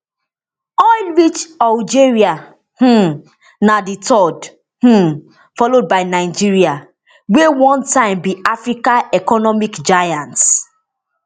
oil rich algeria um na di third um followed by nigeria wey one time be africa economic giant